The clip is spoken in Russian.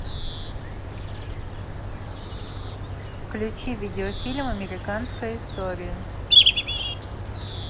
включи видеофильм американская история